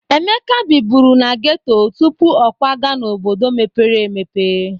Emeka biburu na ghetto tupu o kwaga n'obodo mepere emepe.